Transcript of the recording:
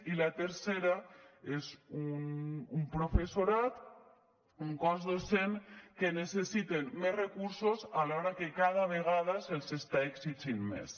i la tercera és un professorat un cos docent que necessita més recursos alhora que cada vegada se li està exigint més